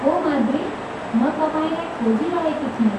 हो माद्री, म तपाईँलाई खोजिरहेकी थिएँ।